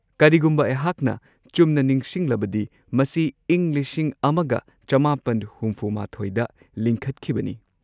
ꯀꯔꯤꯒꯨꯝꯕ ꯑꯩꯍꯥꯛꯅ ꯆꯨꯝꯅ ꯅꯤꯡꯁꯤꯡꯂꯕꯗꯤ ꯃꯁꯤ ꯏꯪ ꯱꯹꯶꯱ꯗ ꯂꯤꯡꯈꯠꯈꯤꯕꯅꯤ꯫